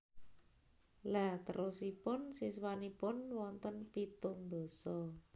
Lha terosipun siswanipun wonten pitung ndasa